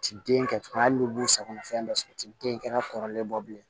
Ti den kɛ hali n'u b'u sagona fɛn dɔ sɔrɔ u ti den kɛnɛ kɔrɔlen bɔ bilen